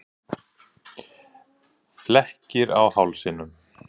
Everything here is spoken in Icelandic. Flekkir á hálsinum.